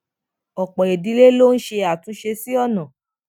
òpò ìdílé ló ń ṣe àtúnṣe sí ònà